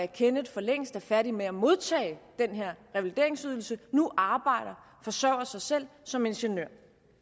kenneth for længst er færdig med at modtage den her revalideringsydelse nu arbejder og forsørger sig selv som ingeniør